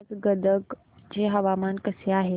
आज गदग चे हवामान कसे आहे